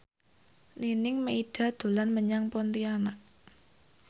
Nining Meida dolan menyang Pontianak